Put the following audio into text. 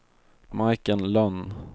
Majken Lönn